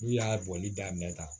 N'u y'a bɔli daminɛ ta